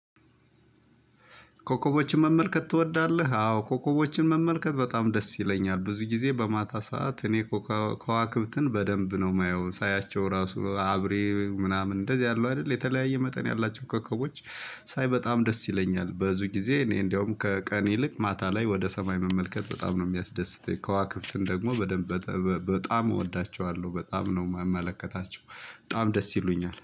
ኮኮቦችን መመልከት ትወዳለህ? አዎ ኮኮቦችን መመልከት በጣም ደስ ይለኛል። ብዙ ጊዜ በማታ ሰዓት እኔ ከዋክብትን በደንብ ነው የማየው ሳያቸው ራሱ አብሬ ምናምን እንደዚህ አሉ አይደል የተለያየ መጠን ያላቸው ኮከቦች። ሳይ በጣም ደስ ይለኛል ብዙ ጊዜ እኔ እንደውም ከቀን ይልቅ ማታ ላይ ወደ ሰማይ መመልከት በጣም ነው የሚያስደስተኝ። ከዋክብትም ደግሞ በደንብ በጣም እወዳቸዋለሁ በጣም ነው የምመለከታቸው በጣም ደስ ይሉኛል